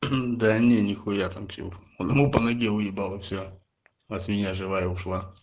да не нехуя там тип ну по ноге уебало все от меня живая ушла